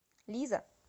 лиза